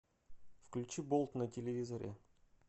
включи болт на телевизоре